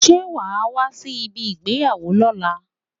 Ṣé wa a wá sí ibi ìgbéyàwó lóla?